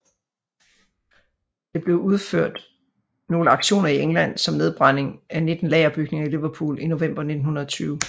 Det blev udført nogle aktioner i England som nedbrænding af 19 lagerbygninger i Liverpool i november 1920